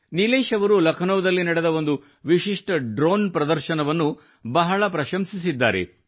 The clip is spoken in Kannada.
ನಿಲೇಶ್ ಅವರು ಲಕ್ನೋದಲ್ಲಿ ನಡೆದ ಒಂದು ವಿಶಿಷ್ಟ ಡ್ರೋನ್ ಪ್ರದರ್ಶನವನ್ನು ಬಹಳ ಪ್ರಶಂಸಿಸಿದ್ದಾರೆ